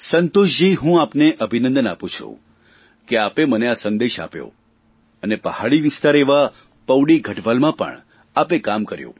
સંતોષજી હું આપને અભિનંદન આપું છું કે આપે મને આ સંદેશ આપ્યો અને પહાડી વિસ્તાર એવા પૌડી ગઢવાલમાં પણ આપે કામ કર્યું